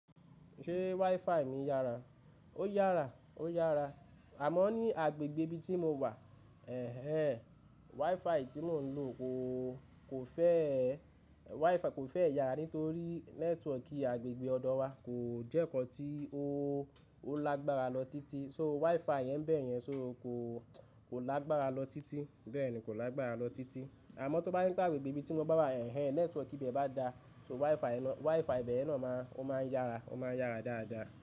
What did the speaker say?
Ṣé WiFi mi yára? Ó yára, ó yára. Àmọ́n ní agbègbè ibi tí mo wà, ẹ̀hn hen WiFi tí mo ń lò kò, kò fẹ́ ẹ, WiFi kò fẹ́ yàára nitorí nẹ́tíwọ̀kì agbègbè ọ̀dọ wa kò jẹ́ nǹkan tí ó, ó lágbára lọ títí. So WiFi yẹn bẹ́ẹ̀ yẹn, so kò, kò lágbára lọ títí. Bẹ́ẹ̀ ni, kò lágbára lọ títí. Àmọ́n tó bá jepe agbègbè ibi tí mo bá wà ẹ̀ẹ́ nẹ́tíwọ̀kì ibe bá da, so WiFi ná, WiFi ibẹ̀ yen náà máa, ó máa ń yára, ó máa ń yára dáadáa.